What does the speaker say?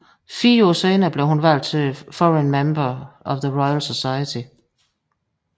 Fire år senere blev hun valgt til Foreign Member of the Royal Society